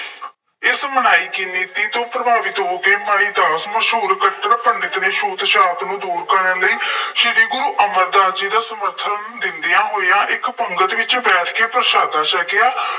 ਇਸ ਬਣਾਈ ਗਈ ਨੀਤੀ ਤੋਂ ਪ੍ਰਭਾਵਿਤ ਹੋ ਕੇ ਮਨੀ ਦਾਸ ਮਸ਼ਹੂਰ ਕੱਟੜ ਪੰਡਿਤ ਨੇ ਛੂਤ-ਛਾਤ ਨੂੰ ਦੂਰ ਕਰਨ ਲਈ ਸ਼੍ਰੀ ਗੁਰੂ ਅਮਰਦਾਸ ਜੀ ਦਾ ਸਮਰਥਨ ਦਿੰਦਿਆਂ ਹੋਇਆਂ ਇੱਕ ਪੰਗਤ ਵਿੱਚ ਬੈਠ ਕੇ ਪ੍ਰਸ਼ਾਦਾ ਛਕਿਆ